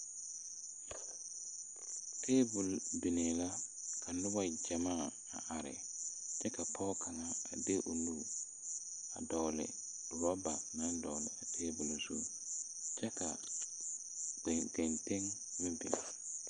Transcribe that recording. Tabol biŋee la ka nobɔ gyamaa a are ka pɔɔ kaŋa de o nu a dɔgle rɔba naŋ dɔgle tabol zu kyɛ ka ganteŋ meŋ biŋ.